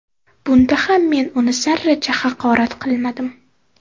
Bunda ham men uni zarracha haqorat qilmadim.